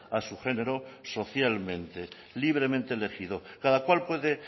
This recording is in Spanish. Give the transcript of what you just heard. a su género socialmente libremente elegido cada cual puede